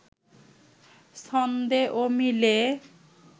ছন্দে ও মিলে